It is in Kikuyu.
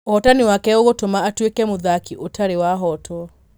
ũhotani wake ũgũtuma atuike mũthaki ũtari wahotwo.